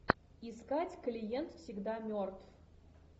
искать клиент всегда мертв